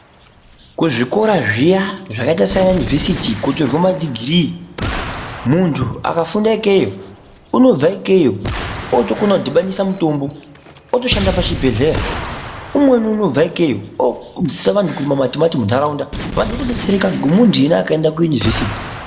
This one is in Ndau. Kuzvikora zviya zvakaita Sana univhesiti kunotorwa madhigiri muntu akafunda ikweyo unobva ikweyo akukona kudhibanisa mitombo otoshanda pazvibhedhlera umweni unobva ikweyo odzidzisa vantu kurima mantu matimati munharaunda odzidzisa vantu kuti muntu here akaenda kuunivhesiti.